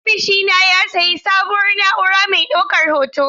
Ofishina ya sayi sabuwar na'ura mai daukar hoto.